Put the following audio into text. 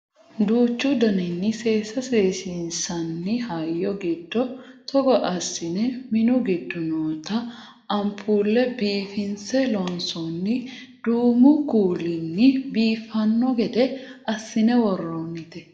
duuchu daninni seesa seesiinsanni hayyo giddo togo assine minu giddo noota anpuulle biifinse loonsoonni duumu kuulinni biiffanno gede assine worroonnite